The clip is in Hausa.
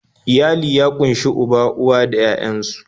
Iyali ya ƙunshi uba, uwa da 'ya'yan su